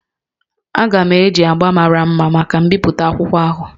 Aga m eji agbá mara mma maka mbipụta akwụkwọ ahụ